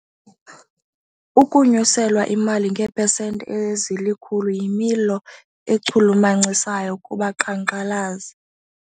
Ukunyuselwa imali ngeepesenti ezilikhulu yimelo echulumachisayo kubaqhankqalazi.